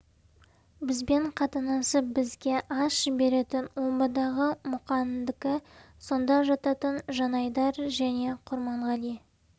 бізбен қатынасып бізге ас жіберетін омбыдағы мұқандікі сонда жататын жанайдар және құрманғали